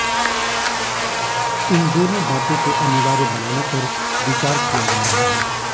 इन दोनों बातों को अनिवार्य बनाने पर विचार किया जा रहा है